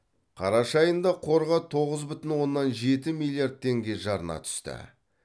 қараша айында қорға тоғыз бүтін оннан жеті миллиард теңге жарна түсті